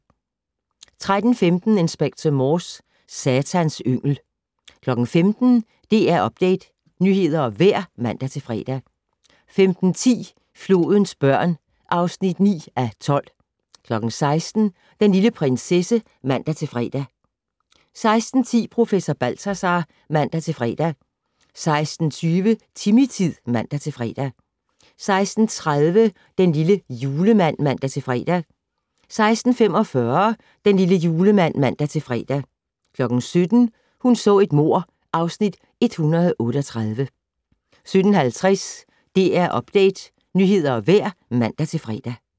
13:15: Inspector Morse: Satans yngel 15:00: DR Update - nyheder og vejr (man-fre) 15:10: Flodens børn (9:12) 16:00: Den lille prinsesse (man-fre) 16:10: Professor Balthazar (man-fre) 16:20: Timmy-tid (man-fre) 16:30: Den lille julemand (man-fre) 16:45: Den lille julemand (man-fre) 17:00: Hun så et mord (Afs. 138) 17:50: DR Update - nyheder og vejr (man-fre)